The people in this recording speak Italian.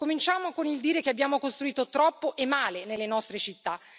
Cominciamo con il dire che abbiamo costruito troppo e male nelle nostre città.